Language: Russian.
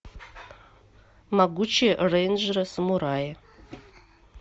могучие рейнджеры самураи